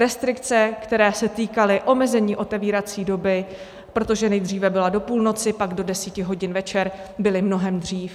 Restrikce, které se týkaly omezení otevírací doby, protože nejdříve byla do půlnoci, pak do deseti hodin večer, byly mnohem dřív.